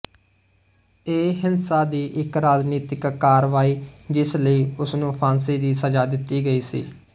ਇਹ ਹਿੰਸਾ ਦੀ ਇੱਕ ਰਾਜਨੀਤਿਕ ਕਾਰਵਾਈ ਜਿਸ ਲਈ ਉਸਨੂੰ ਫਾਂਸੀ ਦੀ ਸਜ਼ਾ ਦਿੱਤੀ ਗਈ ਸੀ